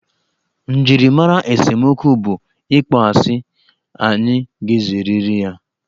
Njirimara esemokwu bụ ịkpọ asị, anyị ga-ezerịrị ya.